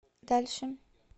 дальше